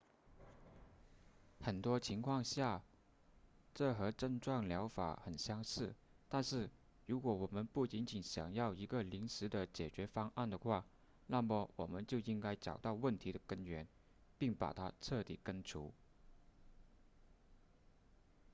很多情况下这和症状疗法很相似但是如果我们不仅仅想要一个临时的解决方案的话那么我们就应该找到问题的根源并把它彻底根除